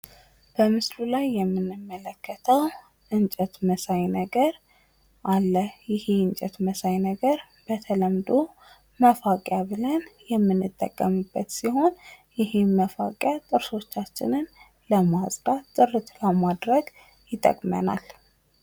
በምስሉ ላይ የምንመለከተው እንጨት መሳይ ነገር አለ ይህ እንጨት መሳይ ነገር በተለምዶ መፋቂያ ብለን የምንጠቀምበት ሲሆን ይህን መፋቂያ ጥርሶቻችንን ለማጽዳት ጥርት ለማድረግ ይጠቅመናል።